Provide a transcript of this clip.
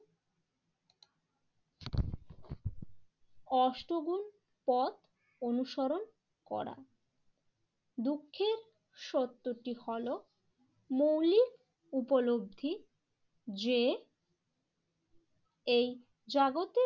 অষ্ট গুন পথ অনুসরণ করা। দুঃখের সত্যটি হলো মৌলিক উপলব্ধি যে এই জাগতে